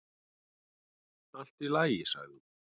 """Allt í lagi, sagði hún."""